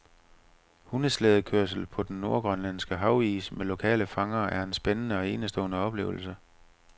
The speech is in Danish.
Hundeslædekørsel på den nordgrønlandske havis med lokale fangere er en spændende og enestående oplevelse.